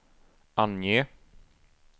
ange